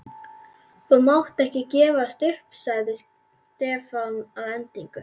Þú mátt ekki gefast upp sagði Stefán að endingu.